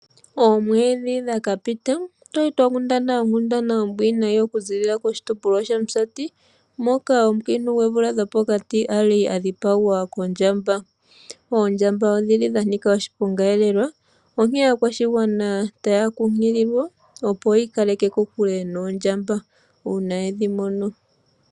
Oomwedhi dha ka pita otwali twa kinda a onkundana ombwiinayi okuziilila koshitopolwa shaOmusati moka oomukiintu goomvula dhopokati ali a dhipagwa kondjamba . Oondjamba oshili dha nika oshiponga lela onkene aakwashigwana taya kunkililwa ya ikaleke kokule noondjamba uuna yedhi mono.